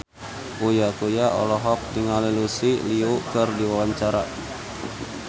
Uya Kuya olohok ningali Lucy Liu keur diwawancara